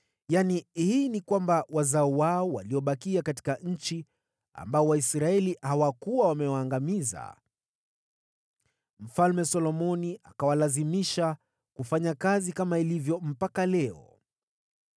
yaani, wazao wao waliobakia katika nchi, ambao Waisraeli hawakuwa wamewaangamiza: hawa Solomoni akawalazimisha kuwa watumwa katika shokoa, kama ilivyo hadi leo.